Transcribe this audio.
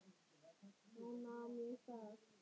Þá nam ég staðar.